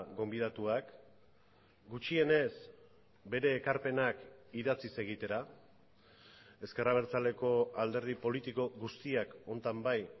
gonbidatuak gutxienez bere ekarpenak idatziz egitera ezker abertzaleko alderdi politiko guztiak honetan bai